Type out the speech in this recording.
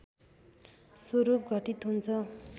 स्वरूप घटित हुन्छ